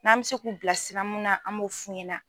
N'an bɛ se k'u bila sira mun na an m'o f'u ɲɛna.